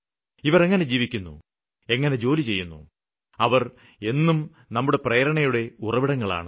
ഇവര് എങ്ങനെ ജീവിക്കുന്നു എങ്ങനെ ജോലി ചെയ്യുന്നു അവര് എന്നും നമുക്ക് പ്രേരണയുടെ ഉറവിടങ്ങളാണ്